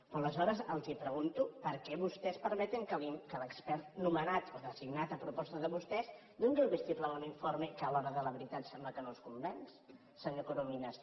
però aleshores els pregunto per què vostès permeten que l’expert nomenat o designat a proposta de vostès doni el vistiplau a un informe que a l’hora de la veritat sembla que no els convenç senyor corominas